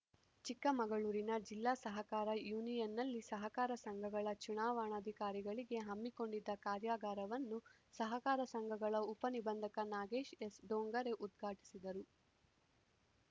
ಚಿಕ್ಕಮಗಳೂರಿನ ಜಿಲ್ಲಾ ಸಹಕಾರ ಯೂನಿಯನ್‌ನಲ್ಲಿ ಸಹಕಾರ ಸಂಘಗಳ ಚುನಾವಣಾಧಿಕಾರಿಗಳಿಗೆ ಹಮ್ಮಿಕೊಂಡಿದ್ದ ಕಾರ್ಯಾಗಾರವನ್ನು ಸಹಕಾರ ಸಂಘಗಳ ಉಪ ನಿಬಂಧಕ ನಾಗೇಶ್‌ ಎಸ್‌ ಡೋಂಗರೆ ಉದ್ಘಾಟಿಸಿದರು